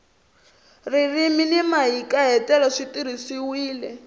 ririmi ni mahikahatelo swi tirhisiwile